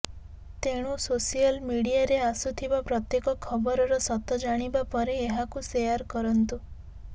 ତେଣୁ ସୋସିଆଲ ମିଡିଆରେ ଆସୁଥିବା ପ୍ରତ୍ୟେକ ଖବରର ସତ ଜାଣିବା ପରେ ଏହାକୁ ସେୟାର କରନ୍ତୁ